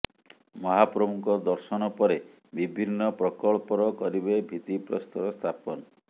ମହାପ୍ରଭୁଙ୍କ ଦର୍ଶନ ପରେ ବିଭିନ୍ନ ପ୍ରକଳ୍ପର କରିବେ ଭିତ୍ତିପ୍ରସ୍ତର ସ୍ଥାପନ